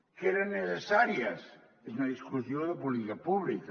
que eren necessàries és una discussió de política pública